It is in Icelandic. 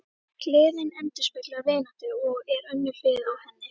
Gleðin endurspeglar vináttuna og er önnur hlið á henni.